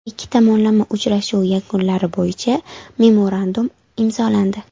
Ikki tomonlama uchrashuv yakunlari bo‘yicha memorandum imzolandi.